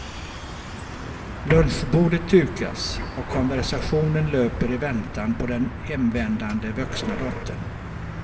Lunchbordet dukas och konversationen löper i väntan på den hemvändande vuxna dottern.